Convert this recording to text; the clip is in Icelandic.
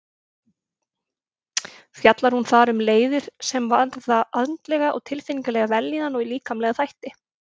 Fjallar hún þar um leiðir sem varða andlega og tilfinningalega vellíðan og líkamlega þætti.